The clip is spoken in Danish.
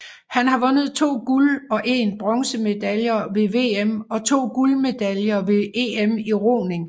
Han har vundet to guld og en bronzemedaljer ved VM og to guldmedaljer ved EM i roning